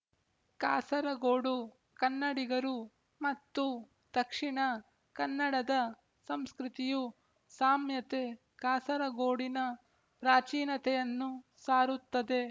ಕಾಸರಗೋಡು ಕನ್ನಡಿಗರು ಮತ್ತು ದಕ್ಷಿಣ ಕನ್ನಡದ ಸಂಸ್ಕೃತಿಯು ಸಾಮ್ಯತೆ ಕಾಸರಗೋಡಿನ ಪ್ರಾಚೀನತೆಯನ್ನು ಸಾರುತ್ತದೆ